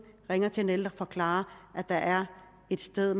ringe til den ældre og forklare at der er et sted